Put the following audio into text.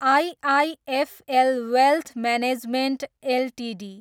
IIFL Wealth Management Ltd